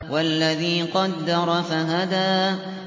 وَالَّذِي قَدَّرَ فَهَدَىٰ